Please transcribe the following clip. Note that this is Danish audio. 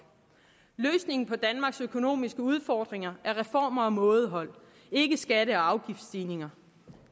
løsningen på danmarks økonomiske udfordringer er reformer og mådehold ikke skatte og afgiftsstigninger